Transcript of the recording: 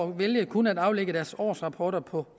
vælge kun at aflægge deres årsrapporter på